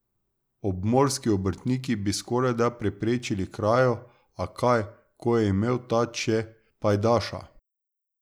Obmorski obrtnik bi skorajda preprečil krajo, a kaj, ko je imel tat še pajdaša.